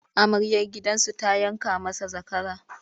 Amaryar gidansu ta yanka masa zakara.